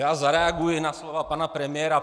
Já zareaguji na slova pana premiéra.